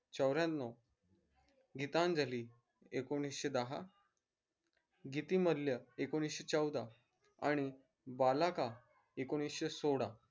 चौऱ्यानव गीतांजली एकोनिषे दहा गितीमल्य एकोनिषे चौदा आणि बालाका एकोनिषे सोळा